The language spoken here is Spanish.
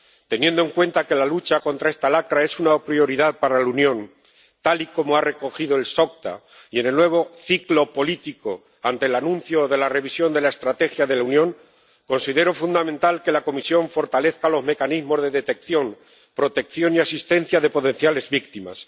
Teniendo en cuenta que la lucha contra esta lacra es una prioridad para la Unión, tal y como ha recogido el SOCTA, y en el nuevo ciclo político ante el anuncio de la revisión de la Estrategia de la Unión, considero fundamental que la Comisión fortalezca los mecanismos de detección, protección y asistencia de potenciales víctimas